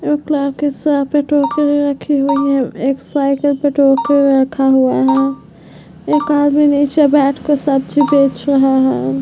टोकरी रखी हुई है एक साइकिल पे टोकरी रखा हुआ है एक आदमी नीचे बैठ के सब्जी बेच रहा है।